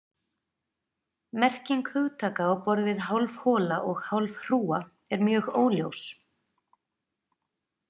Merking hugtaka á borð við hálf hola og hálf hrúga er mjög óljós.